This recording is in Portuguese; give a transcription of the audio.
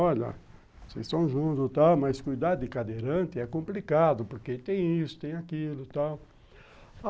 Olha, vocês estão juntos e tal, mas cuidar de cadeirante é complicado, porque tem isso, tem aquilo e tal.